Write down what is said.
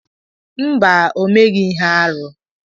Mba, o meghị ihe arụ.